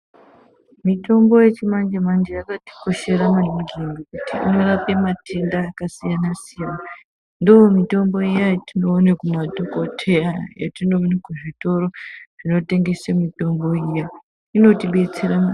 Mitombo yechimanje manje yakatikoshere maningi ngokuti inorape matenda akasiyana siyana ndomitombo iyani yatinoone kumadhokoteya etinoone muzvitoro zvinotengese mitombo zvinotobetsera maningi.